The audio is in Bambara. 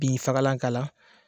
Bin fagalan k'a la.